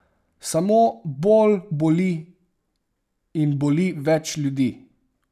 Samo bolj boli in boli več ljudi.